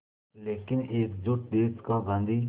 लेकिन एकजुट देश का गांधी